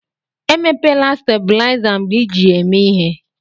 Emepela stabuliza mgbe iji ya eme ihé.